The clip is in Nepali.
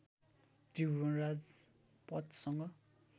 त्रिभुवन राजपथसँग